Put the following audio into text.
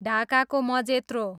ढाकाको मजेत्रो